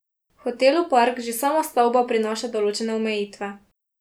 Hotelu Park že sama stavba prinaša določene omejitve.